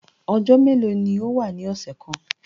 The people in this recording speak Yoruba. Ọjọ melo ni o wa ni ọsẹ kan?